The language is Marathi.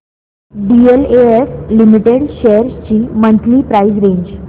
डीएलएफ लिमिटेड शेअर्स ची मंथली प्राइस रेंज